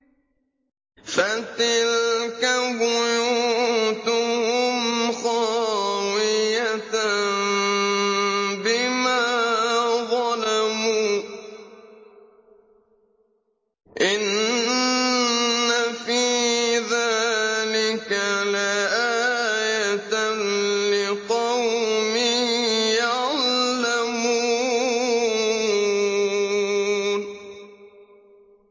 فَتِلْكَ بُيُوتُهُمْ خَاوِيَةً بِمَا ظَلَمُوا ۗ إِنَّ فِي ذَٰلِكَ لَآيَةً لِّقَوْمٍ يَعْلَمُونَ